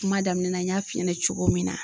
Kuma daminɛ na n y'a f'i ɲɛnɛ cogo min na